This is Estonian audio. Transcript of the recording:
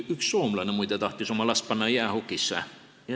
Üks soomlane, muide, tahtis oma last panna jäähokitrenni.